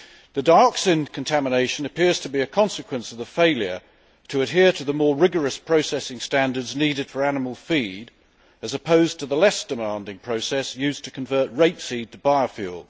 The dioxin contamination appears to be a consequence of the failure to adhere to the more rigorous processing standards needed for animal feed, as opposed to the less demanding process used to convert rapeseed to biofuel.